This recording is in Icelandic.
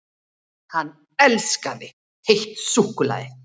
HANN ELSKAÐI HEITT SÚKKULAÐI!